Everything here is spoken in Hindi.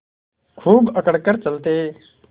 खूब अकड़ कर चलते